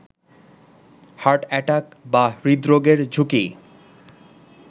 heart attack বা হৃদরোগের ঝুঁকি